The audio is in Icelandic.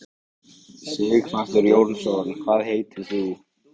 Sighvatur Jónsson: Hvað heitir þú?